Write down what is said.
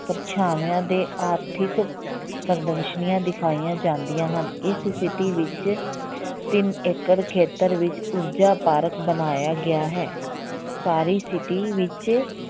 ਪਰਛਾਵਿਆਂ ਦੇ ਆਰਥਿਕ ਪ੍ਰਦਰਸ਼ਨੀਆਂ ਦਿਖਾਈਆਂ ਜਾਂਦੀਆਂ ਹਨ, ਇਸ city ਵਿੱਚ ਤਿੰਨ ਏਕੜ ਖੇਤਰ ਵਿੱਚ ਊਰਜਾ park ਬਣਾਇਆ ਗਿਆ ਹੈ ਸਾਰੀ city ਵਿੱਚ